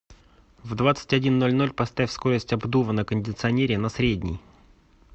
в двадцать один ноль ноль поставь скорость обдува на кондиционере на средний